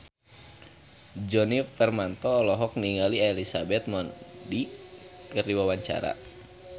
Djoni Permato olohok ningali Elizabeth Moody keur diwawancara